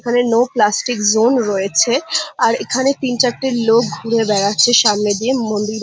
এখানে no plastic zone রয়েছে আর এখানে তিন চারটে লোক ঘুরে বেড়াচ্ছে সামনে দিয়ে মন্দির--